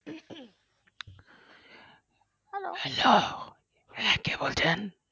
hello কে বলছেন